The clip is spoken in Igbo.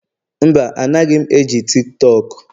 Mba, anaghị m eji TikTok